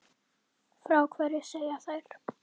Frá hverju segja þær?